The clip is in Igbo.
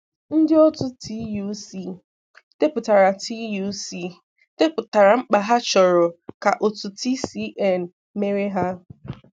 Ndị otu TUC depụtara TUC depụtara mkpa ha chọrọ ka otu TCN mere ha.